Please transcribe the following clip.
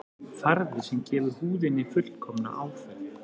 Farði sem gefur húðinni fullkomna áferð